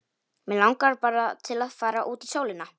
Mig langar bara til að fara út í sólina.